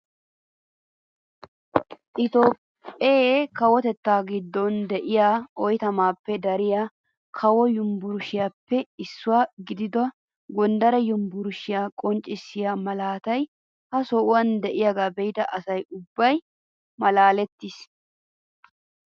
Itoophphee kawotettaa giddon de'iyaa oyttamaappe dariyaa kawo yunburushiyaappe issuwaa gidida gondare yunburushiyaa qonccisiyaa malatay ha sohuwaan de'iyaaga be'ida asa ubbay malaales!